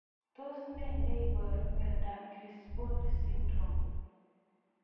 Tos ne neiparu miondop Crisponi syndrome